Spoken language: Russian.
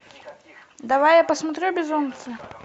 давай я посмотрю безумцы